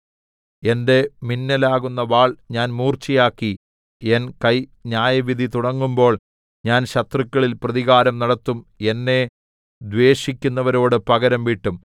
എന്റെ മിന്നലാകുന്ന വാൾ ഞാൻ മൂർച്ചയാക്കി എൻ കൈ ന്യായവിധി തുടങ്ങുമ്പോൾ ഞാൻ ശത്രുക്കളിൽ പ്രതികാരം നടത്തും എന്നെ ദ്വേഷിക്കുന്നവരോട് പകരംവീട്ടും